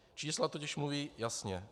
Čísla totiž mluví jasně.